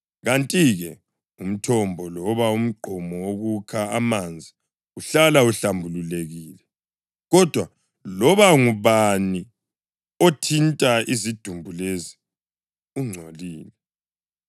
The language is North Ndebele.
Kanti-ke, umthombo loba umgqomo wokukha amanzi uhlala uhlambulukile, kodwa loba ngubani othinta izidumbu lezi ungcolile.